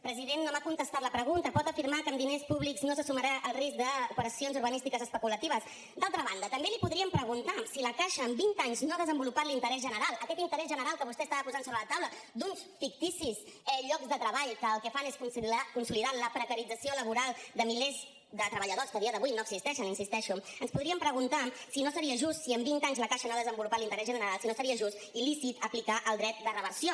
president no m’ha contestat la pregunta pot afirmar que amb diners públics no s’assumirà el risc d’operacions urbanístiques especulatives d’altra banda també li podríem preguntar si la caixa amb vint anys no ha desenvolupat l’interès general aquest interès general que vostè estava posant sobre la taula d’uns ficticis llocs de treball que el que fan és consolidar la precarització laboral de milers de treballadors que a dia d’avui no existeixen hi insisteixo ens podríem preguntar si no seria just si amb vint anys la caixa no ha desenvolupat l’interès general si no seria just i lícit aplicar el dret de reversió